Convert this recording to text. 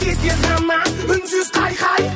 тез тез ғана үнсіз қайқай